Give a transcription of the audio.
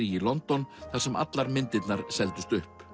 í London þar sem allar myndirnar seldust upp